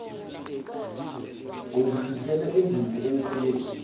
ungifihlele induku emqubeni